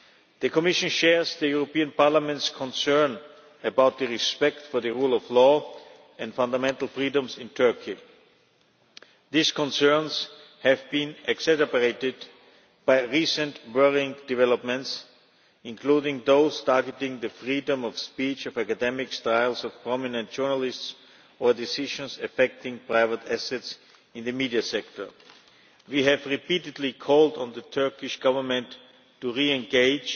The Commission shares the European Parliament's concern about respect for the rule of law and fundamental freedoms in Turkey. These concerns have been exacerbated by recent worrying developments, including those targeting the freedom of speech of academics, trials of prominent journalists and decisions affecting private assets in the media sector. We have repeatedly called on the Turkish Government to re